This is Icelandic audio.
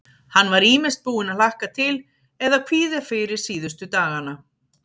Hann var ýmist búinn að hlakka til eða kvíða fyrir síðustu dagana.